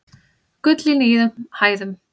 Gull í nýjum hæðum